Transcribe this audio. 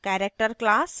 character class